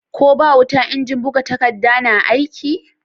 Ko ba wuta injin buga takadda na aiki?